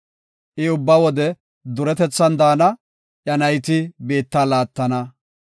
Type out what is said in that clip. I ubba wode duretethan daana; iya nayti biitta laattana.